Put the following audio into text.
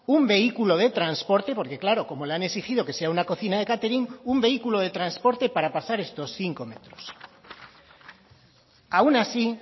un vehículo de transporte porque claro como le han exigido que sea una cocina de catering un vehículo de transporte para pasar esto cinco metros aun así